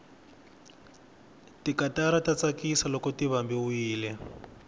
tikatara ta tsakisa loko ti vambiwile